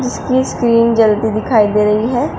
इसकी स्क्रीन जलती दिखाई दे रही है।